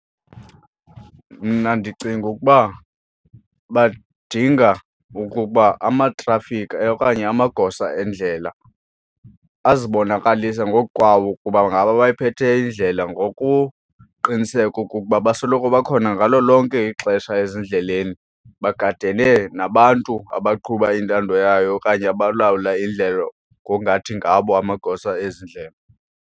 Mna ndicinga ukuba badinga ukuba amatrafikhi okanye amagosa endlela azibonakalise ngoku kwawo ukuba ngabo abayiphetheyo indlela ngokuqiniseka okokuba basoloko bakhona ngalo lonke ixesha ezindleleni bagadene nabantu abaqhuba intando yayo okanye abalawula indlela ngokungathi ngabo amagosa ezi ndlela.